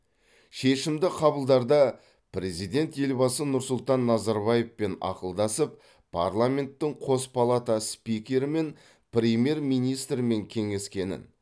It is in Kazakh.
шешімді қабылдарда президент елбасы нұрсұлтан назарбаевпен ақылдасып парламенттің қос палата спикерімен премьер министрмен кеңескенін